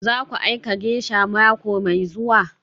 Zaku aika geisha mako mai zuwa?